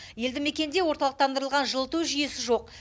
елді мекенде орталықтандырылған жылыту жүйесі жоқ